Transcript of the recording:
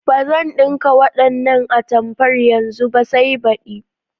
Ba zan ɗinka wannan atamfar yanzu ba sai badi.